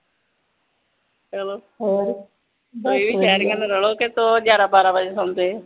ਚਲੋ ਬਈ ਸ਼ਹਿਰੀਆਂ ਦਾ ਰੌਲਾ ਲੱਗੇ ਤੋਂ ਉਹ ਵੀ ਗਿਆਰਾਂ ਬਾਰਾਂ ਵਜੇ ਸੌਂਦੇ ਆ